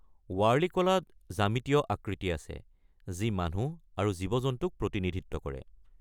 ৱাৰ্লি কলাত জ্যামিতীয় আকৃতি আছে যি মানুহ আৰু জীৱ-জন্তুক প্ৰতিনিধিত্ব কৰে।